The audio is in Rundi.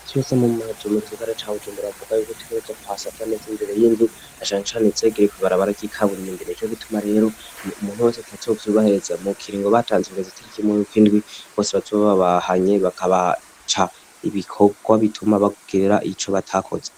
Imisi yose mu mazu mu gisigara ca Bujumbura bavuga yuko dutegerezwa kuhasasa neza imbere y'inzu na canecane izegereye kw'ibarabara ry'ikaburimbi, nico gituma rero umuntu wese atazovyubahiriza mu kiringo batanze kugeza itariki imwe yuk'indwi bose bazoba babahanye, bakabaca ibikorwa bituma bagira ico batakoze.